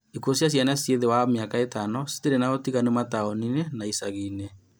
Ikuũ cia ciana cia thĩ wa mĩaka ĩtano citirĩ na ũtiganu mataũni-inĩ na icagi-inĩ